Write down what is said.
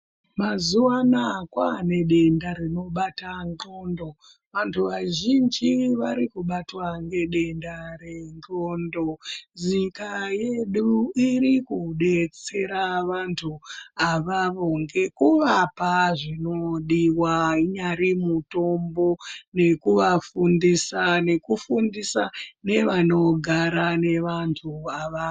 Mazuva anaya kwane denda rino bata ndxondo vantu vazhinji vari kubatwa nge denda re ndxondo nyika iri kudetsera vantu awawo ngeku vapa zvino diwa unyari mutombo nekuva fundisa neku fundisa ne vanogara ne vantu avawo.